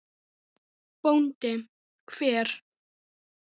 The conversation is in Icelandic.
BÓNDI: Hver?